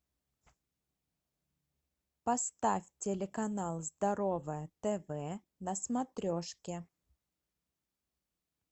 поставь телеканал здоровое тв на смотрешке